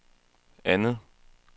andet